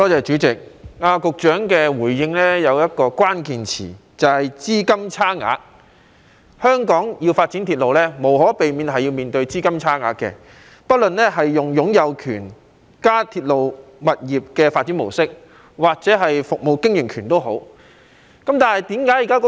主席，局長的回應中有一個關鍵詞，就是"資金差額"。香港要發展鐵路無可避免會面對"資金差額"，不論是採用擁有權及"鐵路加物業發展"模式或服務經營權。